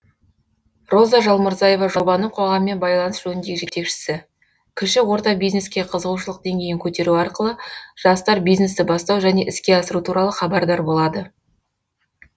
роза жалмұрзаева жобаның қоғаммен байланыс жөніндегі жетекшісі кіші орта бизнеске қызығушылық деңгейін көтеру арқылы жастар бизнесті бастау және іске асыру туралы хабардар болады